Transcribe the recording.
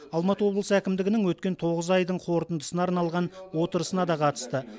алматы облысы әкімдігінің өткен тоғыз айдың қорытындысына арналған отырысына да қатысты